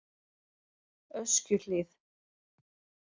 Öskjuhlíð